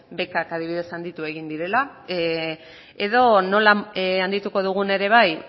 bekak adibidez handitu egin direla edo nola handituko dugun ere bai